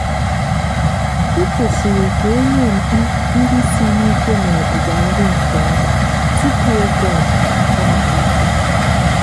ekwesiri ka enye mkpi ndị siri ike n'ọgbụgba nri nke ọma tupu oge ọmụmụ amalite.